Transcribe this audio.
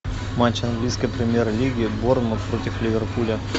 матч английской премьер лиги борнмут против ливерпуля